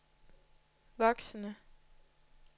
voksende